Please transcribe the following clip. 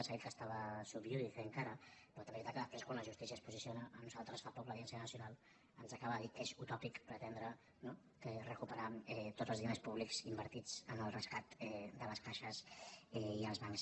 s’ha dit que estava sub iudice encara però també és veritat que quan després quan la justícia es posiciona a nosaltres fa poc l’audiència nacional ens acaba de dir que és utòpic pretendre no recuperar tots els diners públics invertits en el rescat de les caixes i els bancs